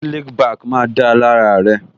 Slick back má da lára rẹ